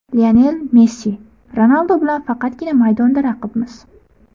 Lionel Messi: Ronaldu bilan faqatgina maydonda raqibmiz.